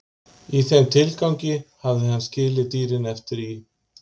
Í þeim tilgangi hafði hann skilið dýrin eftir í